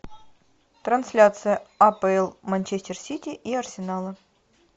трансляция апл манчестер сити и арсенала